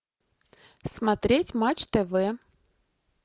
смотреть матч тв